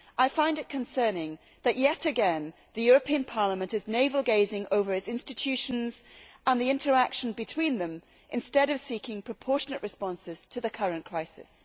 I find it concerning that, yet again, the European Parliament is navel gazing over its institutions and the interaction between them instead of seeking proportionate responses to the current crisis.